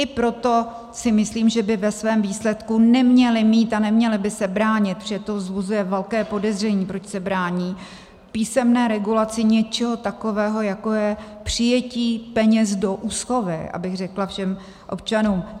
I proto si myslím, že by ve svém výsledku neměly mít a neměly by se bránit, protože to vzbuzuje velké podezření, proč se brání písemné regulaci něčeho takového, jako je přijetí peněz do úschovy, abych řekla všem občanům.